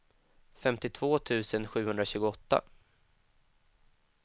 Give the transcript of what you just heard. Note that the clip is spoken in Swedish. femtiotvå tusen sjuhundratjugoåtta